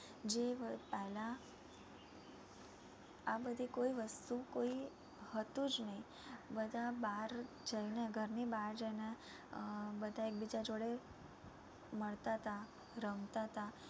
પહેલા આ બધી કોઈ વસ્તુ કોઈ હતું જ નઈ બધા બાર જઈને ઘર ની બાર જઈને આહ બધા એક બીજા જોડે મળતાતા, રમતાતા